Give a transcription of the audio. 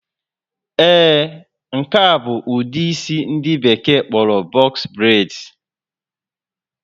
Ee, nke a bụ ụdị isi ndị Bekee kpọrọ box braids